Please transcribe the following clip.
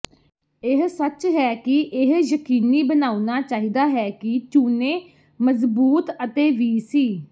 ਇਹ ਸੱਚ ਹੈ ਕਿ ਇਹ ਯਕੀਨੀ ਬਣਾਉਣਾ ਚਾਹੀਦਾ ਹੈ ਕਿ ਚੂਨੇ ਮਜ਼ਬੂਤ ਅਤੇ ਵੀ ਸੀ